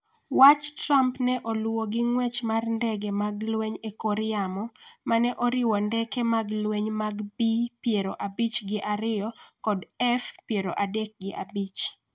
Wach Trump ne oluwo gi ng’wech mar ndege mag lweny e kor yamo ma ne oriwo ndeke mag lweny mag B-piero abich gi ariyo kod F-piero adek gi abich